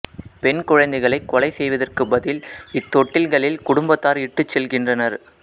பெண் குழந்தைகளைக் கொலை செய்வதற்கு பதில் இத்தொட்டில்களில் குடும்பத்தார் இட்டுச் செல்கின்றனர்